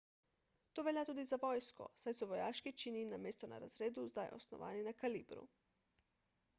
to velja tudi za vojsko saj so vojaški čini namesto na razredu zdaj osnovani na kalibru